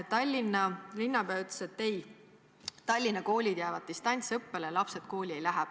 Tallinna linnapea ütles, et Tallinna koolid jäävad distantsõppele, lapsed kooli ei lähe.